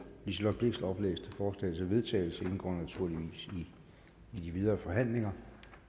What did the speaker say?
liselott blixt oplæste forslag til vedtagelse indgår naturligvis i de videre forhandlinger